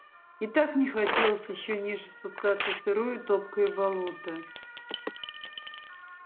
и так не хотелось ещё ниже спускаться в сырое топкое болото